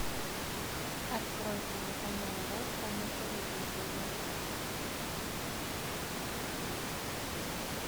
открой телеканал ретро на телевизоре